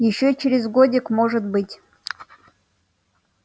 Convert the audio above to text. ещё через годик может быть